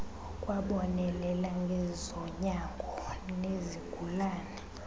akwabonelela ngezonyango nezigulane